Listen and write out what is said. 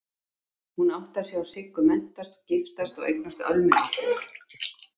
Hún átti að sjá Siggu menntast og giftast og eignast Ölmu litlu.